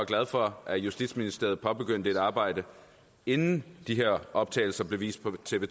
glad for at justitsministeriet påbegyndte et arbejde inden de her optagelser blev vist på tv